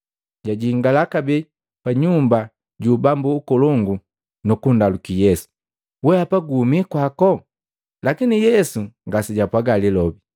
Jajingala kabee pa nyumba ju ubambu ukolongu nukundaluki Yesu, “Wehapa guhumi kwako?” Lakini Yesu ngasejapwaaga lilobi.